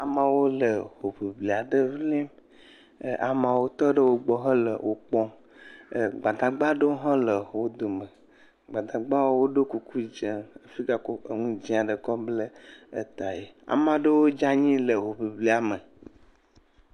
Ama ɖewo le hoŋiŋli aɖe ŋlim. ɛɛ amawo tɔ ɖe wogbɔ hele wo kpɔm. ɛɛ Gbadagba aɖewo hã le wo dome. Gbadagbawo do kuku dzẽ fi kɔ nu dzẽ kɔ kɔ blɛ etaɛ. Ama ɖewo dze anyi le hoŋiŋlŋia me.